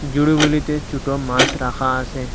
ঝুড়িগুলিতে ছুটো মাস রাখা আসে।